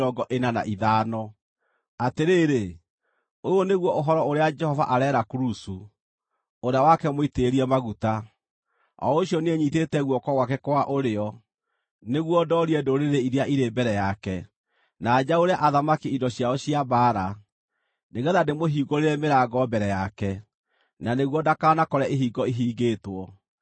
Atĩrĩrĩ, ũyũ nĩguo ũhoro ũrĩa Jehova areera Kurusu, ũrĩa wake mũitĩrĩrie maguta, o ũcio niĩ nyitĩte guoko gwake kwa ũrĩo nĩguo ndoorie ndũrĩrĩ iria irĩ mbere yake, na njaũre athamaki indo ciao cia mbaara, nĩgeetha ndĩmũhingũrĩre mĩrango mbere yake, na nĩguo ndakanakore ihingo ihingĩtwo: